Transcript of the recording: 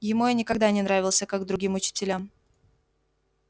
ему я никогда не нравился как другим учителям